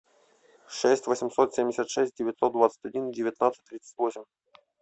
шесть восемьсот семьдесят шесть девятьсот двадцать один девятнадцать тридцать восемь